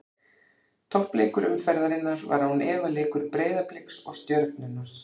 Toppleikur umferðarinnar var án efa leikur Breiðabliks og Stjörnunnar.